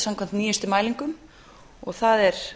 samkvæmt nýjustu mælingum og það er